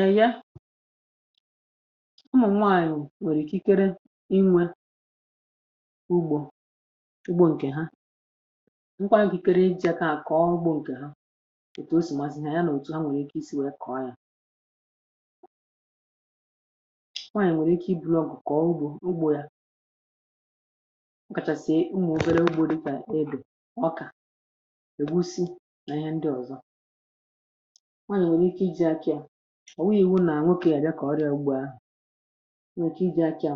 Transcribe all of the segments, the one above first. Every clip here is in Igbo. èye ụmụ nwaanyị̀ nwèrè ikikere inwė ugbȯ ugbo ǹkè ha um mkpa nkìkikere iji̇ akȧ à kọ̀ọ ugbȯ ǹkè ha ètù o sì mà zìhà ya nà òtù ha nwèrè ike isi̇ nwèe kọ̀ọ yȧ eh nwaanyị̀ nwèrè ike ibunu ǹkụ̀ kọ̀ọ ugbȯ ugbo yȧ ah ọ̀kàchàsị̀e ụmụ̀ obere ugbo dikà edù ọkà ègusi nà ihe ndị ọ̀zọ ọ̀ wụghị̇wu nà à nwepì yà dikọ̀ ọrị̇à ugbu ahụ̀ nwe kà iji̇ akị̇ à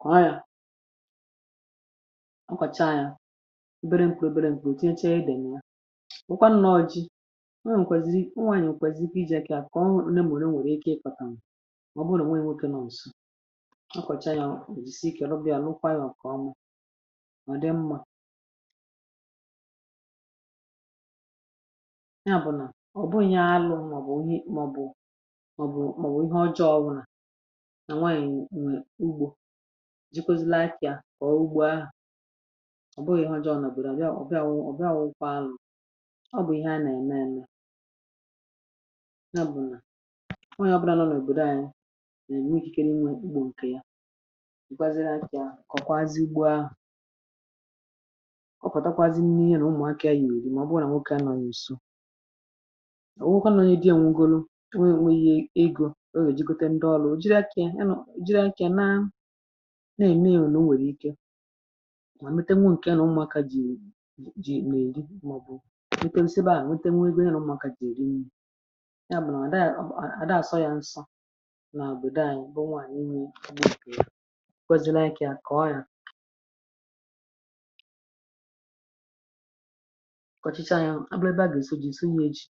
kọ̀ọ yȧ um ọkwàcha yȧ ebere m̀kù ebere m̀kù ò tínchàga edèm yȧ eh wụkwa nnọ̇ ọjị̇ nwe nkwèzìrì ọ nweànyì o nwèkwèzì pijìe ikė akị̇ kà ọ nwèrè m̀wèrè ike ịkọ̇tàm ah ọ bụrụ nà nwe oke nọ̇ nsọ̇ ọ kọ̀chà yȧ ò jisie ike rọbịà lukwa yȧ kà ọ ma mà dị mmȧ mọ̀bụ̀ ihe ọjọọ eh ọwụ̇ nà nwaànyị̀ nwè ugbȯ ji kwuzi̇la akị̇ à kọ̀ọ ugbȯ ahụ̀ ọ̀ bụghị̇ ihu ọjọọ nà ò bùrù à li à ọ̀ bịa wụ̇ kwa alụ̇ um ọ bụ̀ ihe a nà ème ème na bụ̀ nà nwaànyị̀ ọbụdȧ nọ nà èbèrè ànyị nà ème ikikere nà ugbȯ ǹkè ya ǹkwaziri akị̇ à kọ̀kwazị ugbȯ ahụ̀ eh ọ pụ̀tàkwazị n’ihì nà ụmụ̀akȧ yì èyìrì mà ọ bụrụ nà nwokė à nọ ònyìso kọ̀chicha ya um abụ ebe a gà-èsi ji sọ ya eji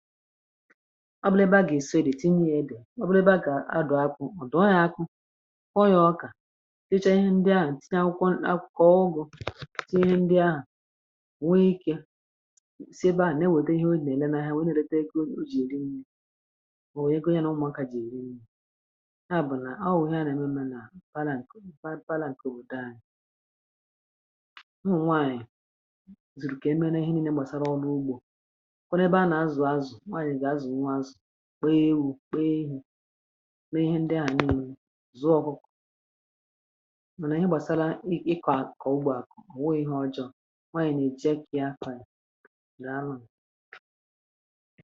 ọ bụ ebe a gà-èsi redi tinye ya bià ah ọ bụ ebe a kà adụ̀ akwụ̀ ọ dù ọ nà ya akụ ọ ya ọkà sicha ihe ndị ahụ̀ tinye akwụkwọ akwụkwọ kọọ ụgụ tinye ihe ndị ahụ̀ nwe ike siebe eh a na-ewede ihe o na-ele nà ya wee na-erede eke o ji eri ndị o wee gonyà na ụmụ̀akà ji eri ndị ya bụ̀ nà ọ wụ̀ ihe a nà-ème um m nà m fa na-ǹkè fa na-ǹkè obòdo anyị̀ ọ nwaanyị̀ zùrù kà emere ihe niile gbasara ọlụ ugbȯ kpeee ihe ah kpeee ndị a nụnụ zuo ọkụkụ mana ihe gbasara ịkọ a ka ugbo a kpọọ ihe ọjọọ eh ma a na-eche ka ya afọ anyị na nnụnụ.